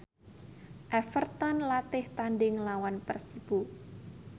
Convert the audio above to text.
Everton latih tandhing nglawan Persibo